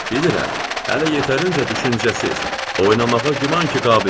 Bilirəm, hələ yetərincə düşüncəsiz, oynamağa güman ki qabilsiz.